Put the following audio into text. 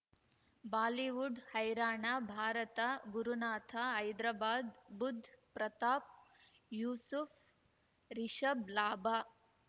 Bollywood ಹೈರಾಣ ಭಾರತ ಗುರುನಾಥ ಹೈದರಾಬಾದ್ ಬುಧ್ ಪ್ರತಾಪ್ ಯೂಸುಫ್ ರಿಷಬ್ ಲಾಭ